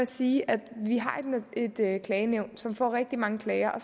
sige at vi har et et klagenævn som får rigtig mange klager og